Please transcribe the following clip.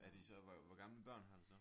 Er de så hvor hvor gamle børn har du så?